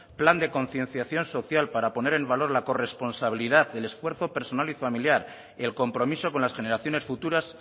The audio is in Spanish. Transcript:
plan de concienciación social para poner en valor la corresponsabilidad el esfuerzo personal y familiar el compromiso con las generaciones futuras